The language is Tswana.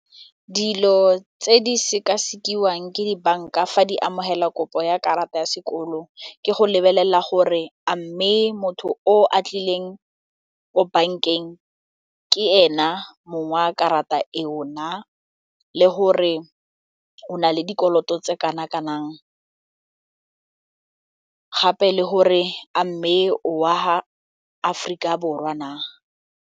Dilo tse di sekasekiwang ke dibanka fa di amogela kopo ya karata ya sekolo ke go lebelela gore a mme motho o a tlileng ko bankeng ke ena mong wa karata e o na le gore o na le dikoloto tse kana kanang gape le gore a mme o wa ga Aforika Borwa na?